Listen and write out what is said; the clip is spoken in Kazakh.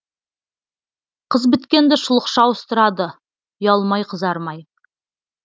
қыз біткенді шұлықша ауыстырады ұялмай қызармай